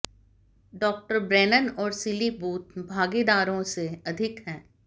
डॉ ब्रेनन और Seeley Booth भागीदारों से अधिक है